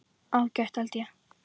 Ágætt held ég.